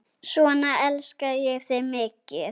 Svona elska ég þig mikið.